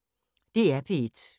DR P1